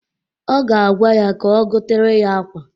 Ọ ga-agwa ya ka o gotere ya akwa.